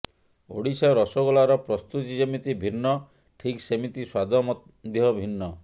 ଓଡ଼ିଶା ରସଗୋଲାର ପ୍ରସ୍ତୁତି ଯେମିତି ଭିନ୍ନ ଠିକ ସେମିତି ସ୍ୱାଦ ମଧ୍ୟ ଭିନ୍ନ